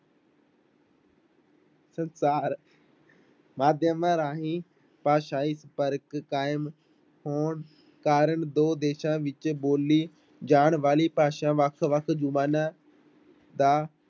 ਸੰਸਾਰ ਮਾਧਿਅਮਾਂ ਰਾਹੀਂ ਭਾਸ਼ਾਈ ਫ਼ਰਕ ਕਾਇਮ ਹੋਣ ਕਾਰਨ ਦੋ ਦੇਸਾਂ ਵਿੱਚ ਬੋਲੀ ਜਾਣ ਵਾਲੀ ਭਾਸ਼ਾ ਵੱਖ ਵੱਖ ਜ਼ੁਬਾਨਾਂ ਦਾ